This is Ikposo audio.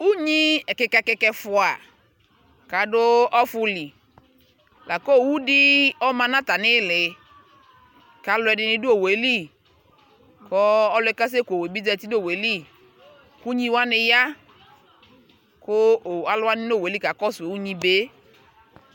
Unyii ɛkika ɛkika ɛƒua kaaduu ɔfuli lakɔ owudɛɛ ɔma natamilɛ, kaluɛdinɛ du owueli kɔɔ ɔluɛ kasɛkowue bi ʒati nayili kunyiwani yaa kaluuwani nowueli kakɔsu unyi bee